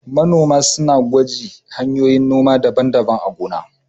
Manomi sunada ƴi na shuƙi daban-daban a gona.